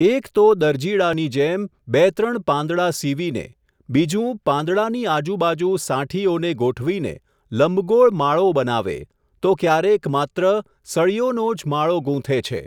એક તો દરજીડાની જેમ, બે ત્રણ પાંદડા સીવીને, બીજું પાંદડાની આજુબાજુ સાંઠીઓને ગોઠવીને, લંબગોળ માળો બનાવે, તો ક્યારેક માત્ર, સળીઓનોજ માળો ગૂંથે છે.